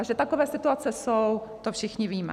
A že takové situace jsou, to všichni víme.